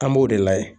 An b'o de layɛ